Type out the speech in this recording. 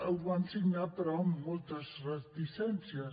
ho vam signar però amb moltes reticències